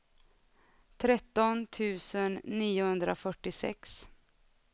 tretton tusen niohundrafyrtiosex